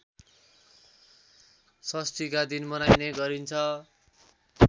षष्ठीका दिन मनाइने गरिन्छ